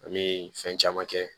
An bɛ fɛn caman kɛ